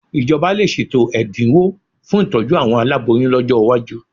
Ìjọba lè ṣètò ẹ̀dinwó fún ìtójú àwọn aláboyún lọ́jọ́ iwájú